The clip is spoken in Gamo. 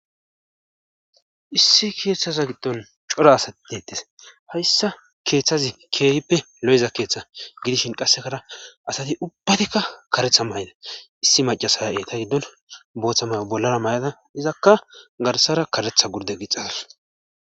Issi keeththasa giddon cora asat dettes hayssa keeththazi keehippe lo7eza keeththa gidishin qassekara asati ubbatikka karetha mayna issi macasaya 7eta giddon booththamay bollara may7ada izakka garsara karetha gurde gixas.